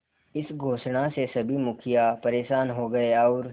इस घोषणा से सभी मुखिया परेशान हो गए और